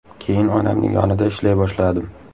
Keyin onamning yonida ishlay boshladim.